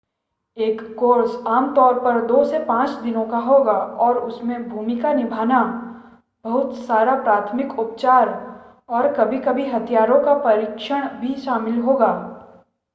एक कोर्स आम तौर पर 2 से 5 दिनों का होगा और उसमें भूमिका निभाना बहुत सारा प्राथमिक उपचार और कभी-कभी हथियारों का प्रशिक्षण भी शामिल होगा